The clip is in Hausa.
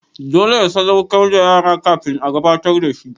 Dole ya sadaukar da ƴarsa kafin a gabatar da shi.